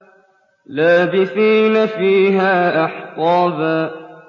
لَّابِثِينَ فِيهَا أَحْقَابًا